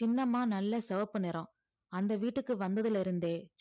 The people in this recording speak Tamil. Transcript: சின்னம்மா நல்ல சிவப்பு நிறம் அந்த வீட்டுக்கு வந்ததுல இருந்தே